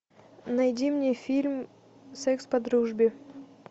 найди мне фильм секс по дружбе